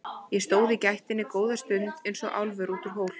Ég stóð í gættinni góða stund eins og álfur út úr hól.